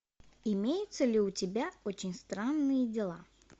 имеется ли у тебя очень странные дела